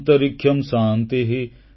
ଅନ୍ତରୀକ୍ଷଂ ଶାନ୍ତିଃ